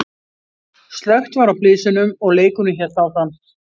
Slökkt var á blysunum og leikurinn hélt áfram.